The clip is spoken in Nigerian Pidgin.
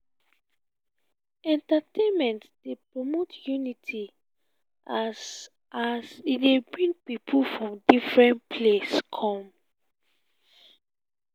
entertainment dey promote unity as as e dey bring pipo from differen place come.